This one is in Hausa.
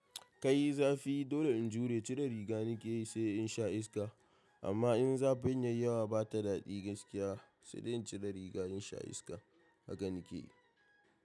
Kai! Zafi, dole in jure, cire riga nake yi sai in sha iska. Amma in zafin yai yawa bata daɗi gaskiya, sai dai in cire riga in sha iska. Haka nake yi.